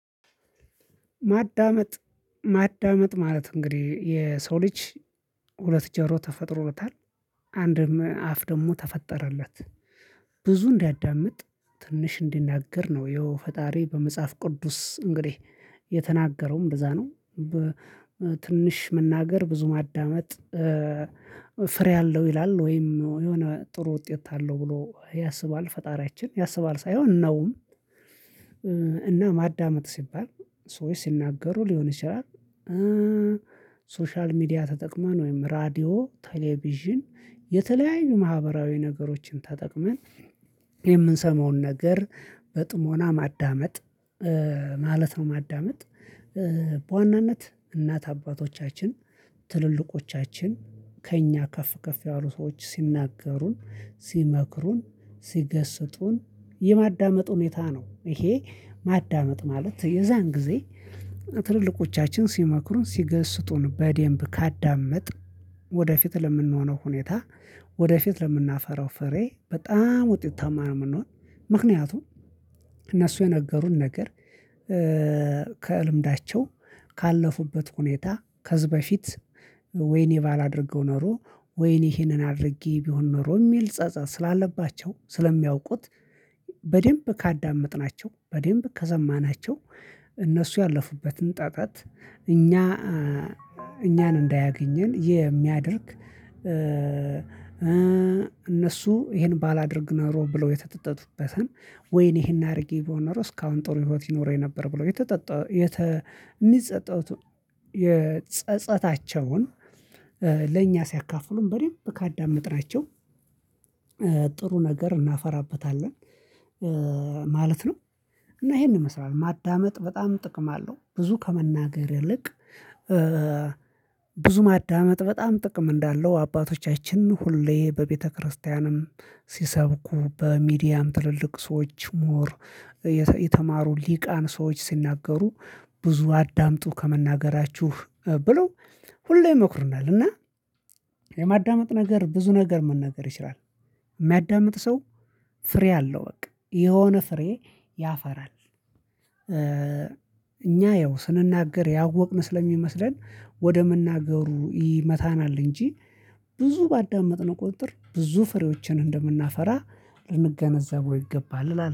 ማዳመጥ ማዳመጥ ማለት እንግዲህ የሰው ልጅ ሁለት ጀሮ ተፈጥሮለታል አንድም አፍ ደግሞ ተፈጠረለት ብዙ እንዲያዳምጥ ትንሽ እንዲናገር ነው የፈጣሪ በመጽሐፍ ቅዱስ እንግዲህ የተናገረውም እንደዛ ነው በትንሽ መናገር ብዙ ማዳመጥ ፍሬ አለው ይላል ወይም የሆነ ጥሩ ውጤት አለው ብሎ ያስባል ፈጣሪያችን ያስባል ሳይሆን ነውም። እና ማዳመጥ ሲባል ሰዎች ሲናገሩ ሊሆን ይችላል። ሶሻል ሚዲያ ተጠቅመን ወይም ራዲዮ ቴሌቪዥን የተለያዩ ማህበራዊ ነገሮችን ተጠቅመን የምንሰማውን ነገር በጥሞና ማዳመጥ ማለት ነው ማዳመጥ። በዋናነት እናት አባቶቻችን ትልልቆቻችን ከእኛ ከፍ ከፍ ያሉ ሰዎች ሲናገሩን ሲመክሩን ሲገስጡን የማዳመጥ ሁኔታ ነው። ይሄ ማዳመጥ ማለት የዛን ጊዜ ትልልቆቻችን ሲመክሩን ሲገስጡን በደንብ ካዳመጥን ወደፊት ለምንሆነው ሁኔታ ወደፊት ለምናፈራው ፍሬ በጣም ውጤታማ ነው። የምንሆነው ምክንያቱም እነሱ የነገሩን ነገር ከልምዳቸው ካለፉበት ሁኔታ ከዚህ በፊት ወይኔ ባላደርገው ኖሮ ወይኔ ይሄንን አድርጌ ቢሆን ኖሮ የሚል ጸጸት ስላለባቸው ስለሚያውቁት በደንብ ካዳመጥናቸው በደንብ ከዘማናቸው እነሱ ያለፉበትን ጠጠት እኛ እኛን እንዳያገኘን የሚያደርግ እነሱ ይሄን ባላደርግ ኖሮ ብለው የተጠጠጡበትን ወይኔ ይሄን አድርጌ በሆነ ራሱ እስካሁን ጥሩ ህይወት ይኖረኝ ነበር ብሎ የተጠጠ የሚጸጸቱት የጸጸታቸውን ለእኛ ሲያካፍሉን በደምብ ካዳመጥናቸው ጥሩ ነገር እናፈራበታለን ማለት ነው። እና ይሄንን ይመስላል ማዳመጥ በጣም ጥቅም አለው ብዙ ከመናገር ይልቅ ብዙ ማዳመጥ በጣም ጥቅም እንዳለው አባቶቻችን ሁሌ በቤተክርስቲያንም ሲሰብኩ በሚዲያም ትልልቅ ሰዎች ምሁር የተማሩ ሊሂቃን ሰዎች ሲናገሩ ብዙ አዳምጡ ከመናገራችሁ ብለው ሁሌ ይሞክርናል እና የማዳመጥ ነገር ብዙ ነገር መናገር ይችላል የሚያዳምጥ ሰው ፍሬ አለው በቃ የሆነ ፍሬ ያፈራል። እኛ ያው ስንናገር ያወቅን ስለሚመስለን ወደ መናገሩ ይመታናል እንጂ ብዙ ባዳመጥነው ቁጥጥር ብዙ ፍሬዎችን እንደምናፈራ ልንገነዘበው ይገባል